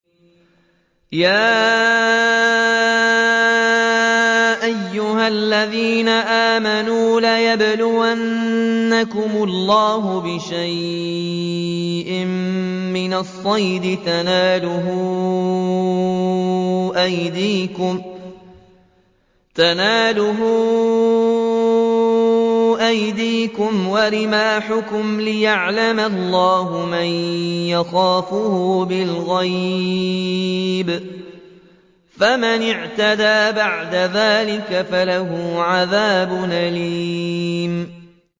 يَا أَيُّهَا الَّذِينَ آمَنُوا لَيَبْلُوَنَّكُمُ اللَّهُ بِشَيْءٍ مِّنَ الصَّيْدِ تَنَالُهُ أَيْدِيكُمْ وَرِمَاحُكُمْ لِيَعْلَمَ اللَّهُ مَن يَخَافُهُ بِالْغَيْبِ ۚ فَمَنِ اعْتَدَىٰ بَعْدَ ذَٰلِكَ فَلَهُ عَذَابٌ أَلِيمٌ